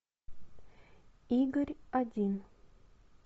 игорь один